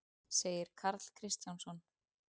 segir Karl Kristjánsson.